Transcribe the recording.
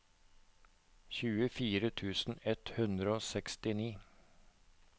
tjuefire tusen ett hundre og sekstini